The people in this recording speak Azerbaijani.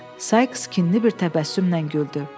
Sayks kinli bir təbəssümlə güldü.